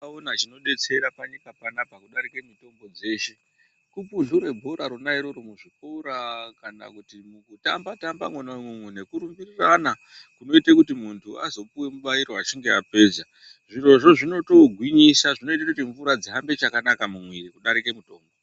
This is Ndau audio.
Vans akaona chinodetsera panyika panapa kudarike mitombo dzeshe kupumhura bhora rona iroro muzvikora kana kuti kutamba-tamba mwona imwomwo nekurumbirirana kunoite kuti muntu azopiwe mibairo apedza. Zvirozvo zvinotogwinyisa, zvinoite kuti mvura dzihambe chakanaka mumwiri kudarike mutombo.